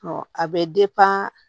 Ɔ a bɛ